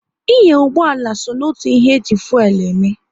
Ị nya ụgbọala so n'otu ihe e ji fuelu eme